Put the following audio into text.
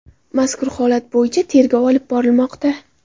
Mazkur holat bo‘yicha tergov olib borilmoqda.